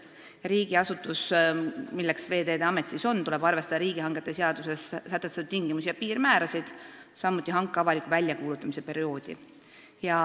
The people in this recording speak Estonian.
Riigiasutusel, nagu Veeteede Amet on, tuleb arvestada riigihangete seaduses sätestatud tingimusi ja piirmäärasid, samuti hanke avaliku väljakuulutamise perioodi.